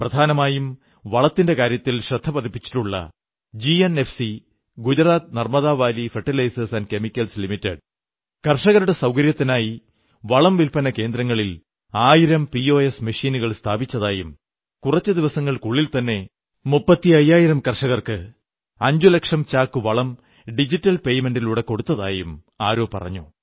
പ്രധാനമായും വളത്തിന്റെ കാര്യത്തിൽ ശ്രദ്ധപതിപ്പിച്ചിട്ടുള്ള GNFC Gujarat Narmada Valley fertilizers and chemicals limited കർഷകരുടെ സൌകര്യത്തിനായി വളം വില്പ്പന കേന്ദ്രങ്ങളിൽ ആയിരം പിഓഎസ് മെഷീനുകൾ സ്ഥാപിച്ചതായും കുറച്ചു ദിവസങ്ങൾക്കുള്ളിൽത്തന്നെ മുപ്പത്തയ്യായിരം കർഷകർക്ക് 5 ലക്ഷം ചാക്ക് വളം ഡിജിറ്റൽ പേയ്മെന്റിലൂടെ കൊടുത്തതായും ആരോ പറഞ്ഞു